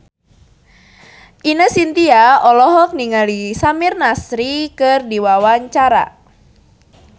Ine Shintya olohok ningali Samir Nasri keur diwawancara